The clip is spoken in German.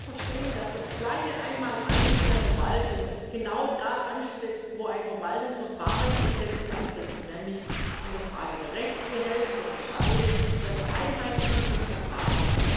Wie kann man nicht verstehen, dass das kleine Einmaleins der Verwaltung genau da ansetzt, wo ein Verwaltungsverfahrensgesetz ansetzt, nämlich bei der Frage der Rechtsbehelfe, der Bescheide, der Vereinheitlichung von Verfahren?